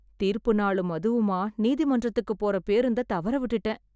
தீர்ப்பு நாளும் அதுவுமா நீதிமன்றத்துக்குப் போற பேருந்தைத் தவற விட்டுட்டேன்